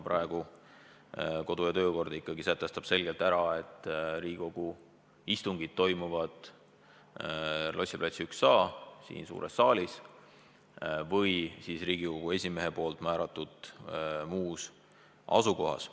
Praegu meie kodu- ja töökord ikkagi sätestab selgelt, et Riigikogu istungid toimuvad Lossi plats 1a, siin suures saalis, või siis Riigikogu esimehe määratud muus asukohas.